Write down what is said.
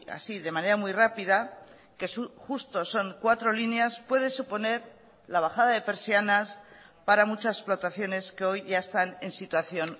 así de manera muy rápida que justo son cuatro líneas puede suponer la bajada de persianas para muchas explotaciones que hoy ya están en situación